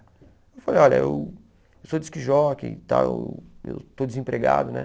Eu falei, olha, eu sou disk jockey e tal, eu estou desempregado, né?